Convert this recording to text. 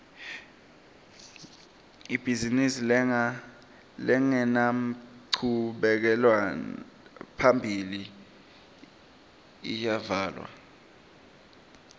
ibhizimisi lengenanchubekela phambili iyavalwa